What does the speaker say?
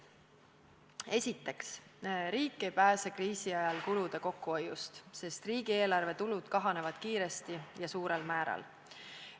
Esiteks, riik ei pääse kriisi ajal kulude kokkuhoiust, sest riigieelarve tulud kahanevad kiiresti ja suurel määral.